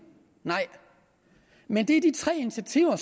nej men det er de tre initiativer